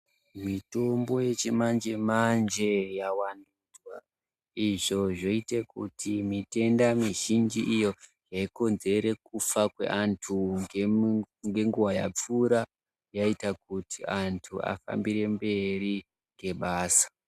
Mitombo yechimanje manje yavandudzwa izvi zvoite kuti mitenda mizhinji iyo yaikonzere kufa kweantu ngenguwa yapfuura yaita kuti antu afambirire mberi ngebasa.